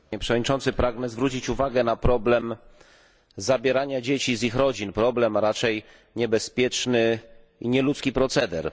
Panie Przewodniczący! Pragnę zwrócić uwagę na problem zabierania dzieci z ich rodzin problem, a raczej niebezpieczny i nieludzki proceder.